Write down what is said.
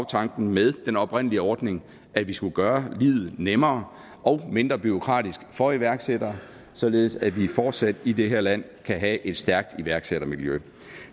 tanken med den oprindelige ordning at vi skulle gøre livet nemmere og mindre bureaukratisk for iværksættere således at vi fortsat i det her land kan have et stærkt iværksættermiljø